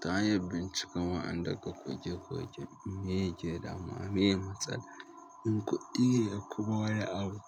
To hanyar bincikan wa'anda ka koke koke me ke danuwa, me matsala? In kuɗi ne ko wani abu.